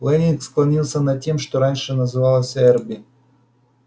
лэннинг склонился над тем что раньше называлось эрби